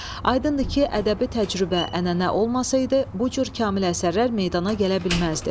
Aydındır ki, ədəbi təcrübə, ənənə olmasaydı, bu cür kamil əsərlər meydana gələ bilməzdi.